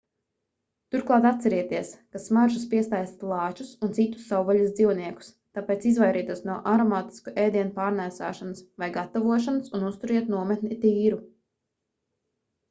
turklāt atcerieties ka smaržas piesaista lāčus un citus savvaļas dzīvniekus tāpēc izvairieties no aromātisku ēdienu pārnēsāšanas vai gatavošanas un uzturiet nometni tīru